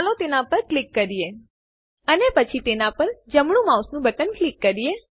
ચાલો તેના પર ક્લિક કરીએ અને પછી તેના પર જમણું માઉસ બટન ક્લિક કરીએ